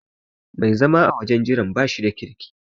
Mai zama a wajen jiran bashi da kirki.